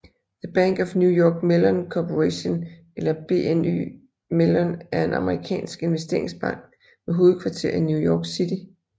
The Bank of New York Mellon Corporation eller BNY Mellon er en amerikansk investeringsbank med hovedkvarter i New York City